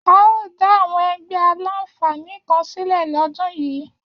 A óò dá àwọn ẹgbẹ́ aláǹfààní kan sílẹ̀ lọ́dún yìí